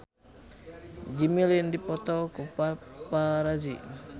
Jimmy Lin dipoto ku paparazi